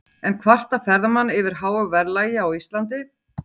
En kvarta ferðamenn yfir háu verðlagi á Íslandi?